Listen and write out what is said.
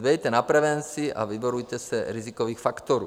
Dbejte na prevenci a vyvarujte se rizikových faktorů.